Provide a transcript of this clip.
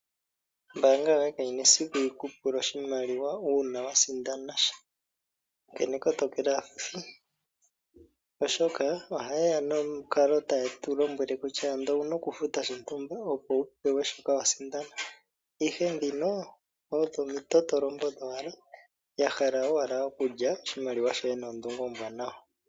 Ombaanga yoye kayina esiku yiku pule oshimaliwa uuna wasindanasha onkene kotokela aafuthi. Oshoka ohayeya nomukalo taye tulombwele kutya ando owuna okufuta shontumba opo wupewe iimaliwa mbyoka wasindana, ihe ndhino odho omitotolombo dhowala yahala owala okulya oshimaliwa shoye noondunge oombwanawa.